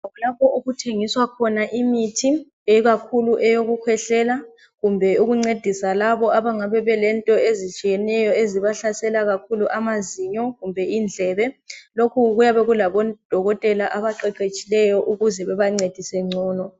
Lapho okuthengiswa khona imithi ikakhulu eyokukhwehlela kumbe. ukuncedisa labo abangabe lento ezitshiyeneyo ezibahlasela kakhulu amazinyo kumbe indlebe. Lokhu kuyabe kulabodokotela abaqeqetshileyo ukuze bebancedise ngcono